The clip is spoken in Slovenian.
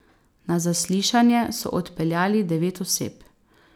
Na zaslišanje so odpeljali devet oseb.